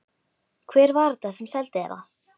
Hver var þetta sem seldi þér það?